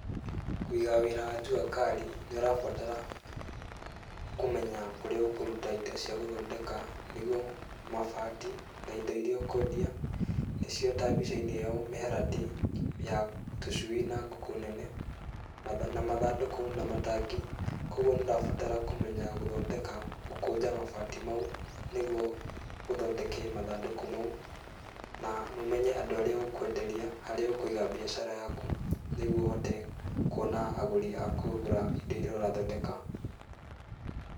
Kũiga wĩra wa jua kari nĩ ũrabatara kũmenya kũrĩa ũkũruta indo cia gũthondeka, nĩguo mabati na indo iria ũkũendia, nĩcio ta mbica-inĩ ĩyo, mĩharatĩ ya tũcui na ngũkũ nene, na mathandũkũ na matangi, kũguo nĩ ndĩrabatara kũmenya gũkũnja mabati mau, nĩguo ũthondeke mathandũkũ mau, na ũmenye andũ arĩa ũkũenderia, harĩa ũkũiga mbiacara yaku, nĩguo ũhote kuona agũri a kũgũra indo iria ũrathondeka.